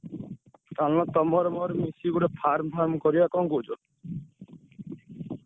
ଚାଲୁନ ତମର ମୋର ମିଶିକି ଗୋଟେ farm farm କରିଆ କଣ କହୁଛ?